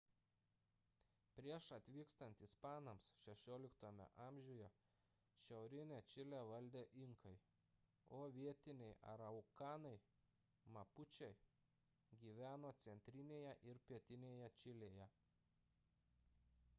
prieš atvykstant ispanams 16 amžiuje šiaurinę čilę valdė inkai o vietiniai araukanai mapučiai gyveno centrinėje ir pietinėje čilėje